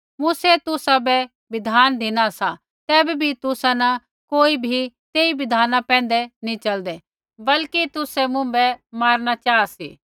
मूसै तुसाबै बिधान धिनु सा तैबै बी तुसा न कोई बी तेई बिधाना पैंधै नैंई च़लदै बल्कि तुसै मुँभै मारणा चाहा सी